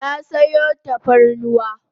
Na sayo tafarnuwa